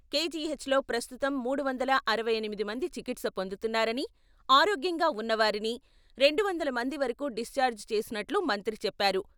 కేజీహెచ్లో ప్రస్తుతం మూడువందల అరవై ఎనిమిది మంది చికిత్స పొందుతున్నారని, ఆరోగ్యంగా ఉన్నవారిని రెండు వందల మంది వరకూ డిశ్చార్జ్ చేసినట్లుగా మంత్రి చెప్పారు.